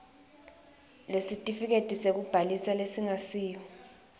lesitifiketi sekubhalisa lesingasiyo